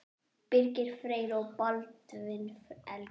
Birgir Freyr og Baldvin Helgi.